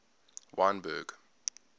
wynberg